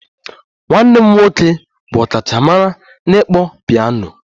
Nwanne m nwoke bụ ọkachamara n'ịkpọ peano